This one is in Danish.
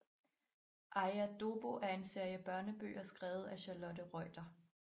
Aja Dobbo er en serie børnebøger skrevet af Charlotte Reuter